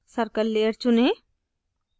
circle layer चुनें